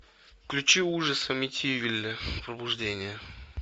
включи ужас амитивилля пробуждение